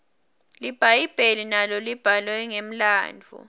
libhayibheli nalo libhalwe ngemlandvo